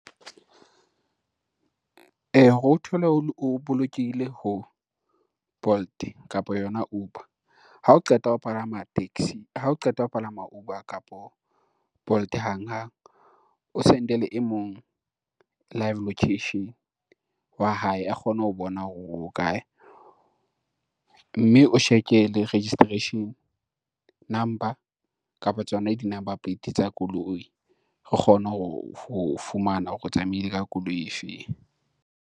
Hore o thole o bolokehile ho, Bolt kapa yona Uber ha o qeta ha o qeta ho palama Uber kapa Bolt hanghang, o send-ele e mong live location wa hae a kgone ho bona hore o kae, mme o check-e le registration number kapa tsona di-number plate tsa koloi, re kgone ho o fumana hore o tsamaile ka koloi e feng.